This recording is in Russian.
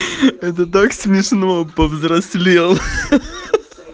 это так смешно повзрослел ха-ха